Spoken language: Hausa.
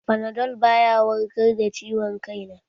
Fanadol baya warkar da ciwon kai na